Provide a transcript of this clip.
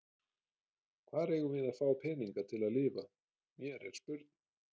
Hvar eigum við að fá peninga til að lifa, mér er spurn.